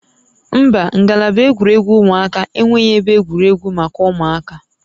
Mba, ngalaba egwuregwu ụmụaka enweghị ebe egwuregwu maka ụmụaka